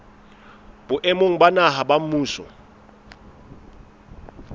boemong ba naha ba mmuso